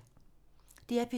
DR P3